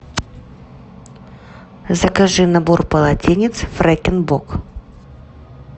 закажи набор полотенец фрекен бок